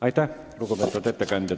Aitäh, lugupeetud ettekandja!